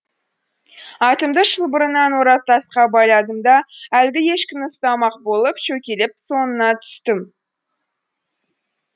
атымды шылбырынан орап тасқа байладым да әлгі ешкіні ұстамақ болып шөкелеп соңына түстім